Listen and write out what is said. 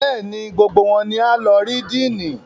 Êàê òóò ñîâñåì íåò íè÷åãî.